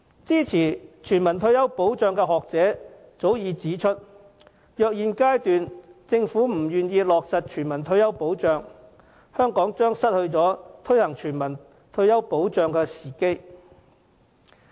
支持全民退休保障的學者早已指出，如果政府在現階段不落實全民退休保障，香港將錯失推行全民退休保障的時機。